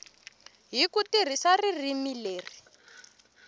hi ku tirhisa ririmi leri